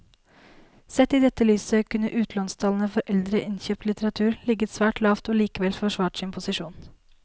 Sett i dette lyset kunne utlånstallene for eldre innkjøpt litteratur ligget svært lavt og likevel forsvart sin posisjon.